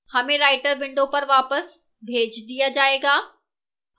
हमें writer window पर वापस भेज दिया जाएगा